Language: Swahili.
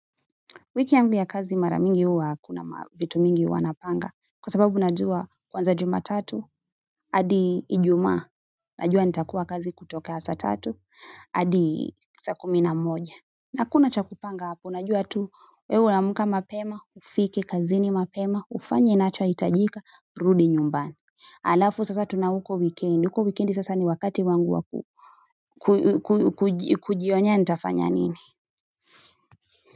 Wiki yangu ya kazi mara mingi huwa hakuna vitu mingi huwa napanga kwa sababu najua kuanzia jumatatu hadi ijumaa najua nitakuwa kazi kutoka saa tatu hadi saa kumi na moja hakuna cha kupanga hapo unajua tu wewe unaamka mapema ufike kazini mapema ufanye inachohitajika rudi nyumbani alafu sasa tuna huko wikendi huko wikendi sasa ni wakati wangu wa kujionea ntafanya nini.